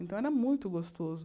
Então, era muito gostoso.